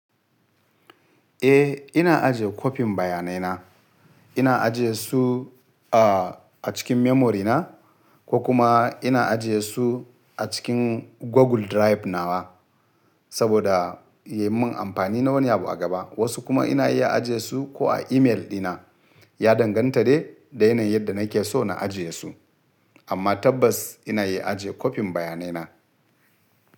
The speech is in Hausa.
Eh ina ajiye kopin bayanai na. Ina ajiye su a cikin memory na ko kuma ina ajiye su a cikin Google Drive nawa saboda yamun amfani na wani abu a gaba. Wasu kuma ina iya ajiye su ko a email dina. Ya danganta da yanayin yadda nake so na ajiye su. Amma tabbas ina iya ajiye kopin bayanai na.